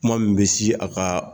Kuma min bɛ se a ka